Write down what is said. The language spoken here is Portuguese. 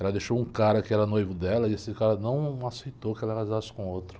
Ela deixou um cara que era noivo dela e esse cara não aceitou que ela casasse com outro.